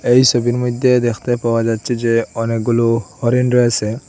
এই সবির মইধ্যে দেখতে পাওয়া যাচ্চে যে অনেকগুলো হরিণ রয়েসে।